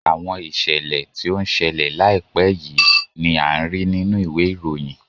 Àwọn ìṣẹ̀lẹ̀ tí ó ń ṣẹlẹ̀ láìpé yìí ni án rí nínú ìwé ìròyìn